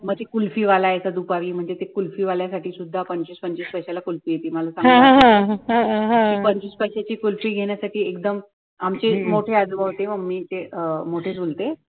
मधी kulfi वाला येतो दुपारी म्हणजे ते kulfi वाल्यासाठी सुद्धा पंचवीस पंचवीस पैसाला ला kulfi येति ती पंचवीस पैसायची kulfi घेणयासाठी एकदम मोठी